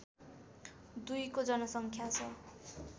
२ को जनसङ्ख्या छ